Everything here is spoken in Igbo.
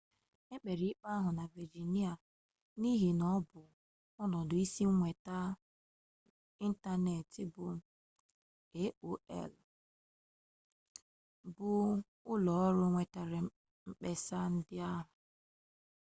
ekpere ikpe ahụ na vejinia n'ihi n'ọbụ ọnọdụ isi nweta ịntanetị bụ aol bụ ụlọọrụ wetara mkpesa ndị ahụ